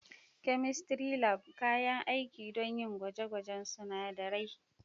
Chemistry Lab: Kayan aiki don yin gwaje-gwajen sunadarai.